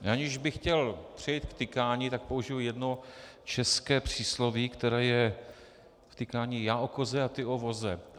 Aniž bych chtěl přejít k tykání, tak použiji jedno české přísloví, které je v tykání: Já o koze a ty o voze.